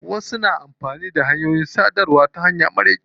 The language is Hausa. Wasu na amfani da hanyoyin sadarwa ta hanya marar kyau.